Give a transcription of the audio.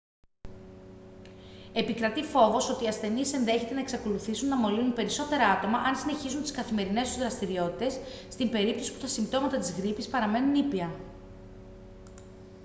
επικρατεί φόβος ότι οι ασθενείς ενδέχεται να εξακολουθήσουν να μολύνουν περισσότερα άτομα αν συνεχίσουν τις καθημερινές τους δραστηριότητες στην περίπτωση που τα συμπτώματα της γρίπης παραμένουν ήπια